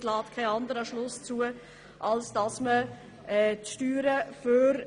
Das lässt keinen anderen Schluss zu, als dass man Steuern für